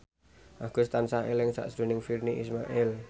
Agus tansah eling sakjroning Virnie Ismail